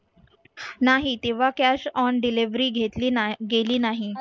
नाही तेव्हा cash on delivery घेतली गेली नाही.